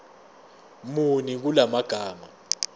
muni kula magama